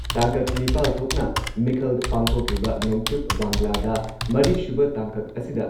ꯇꯥꯡꯀꯛ ꯅꯤꯄꯥꯜ ꯊꯣꯛꯅ ꯃꯤꯈꯜ ꯄꯥꯡꯊꯣꯛꯂꯤꯕ ꯅꯣꯡꯆꯨꯞ ꯕꯪꯒ꯭ꯂꯥꯗ ꯃꯔꯤꯁꯨꯕ ꯇꯥꯡꯀꯛ ꯑꯁꯤꯗ